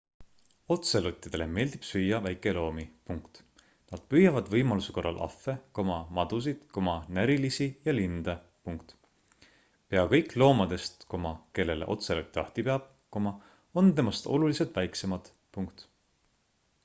otselottidele meeldib süüa väikeloomi nad püüavad võimaluse korral ahve madusid närilisi ja linde pea kõik loomadest kellele otselot jahti peab on temast oluliselt väiksemad